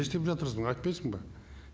не істеп жатырсын айтпайсын ба